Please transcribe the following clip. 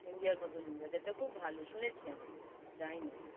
India মতন weather টা খুব ভাল।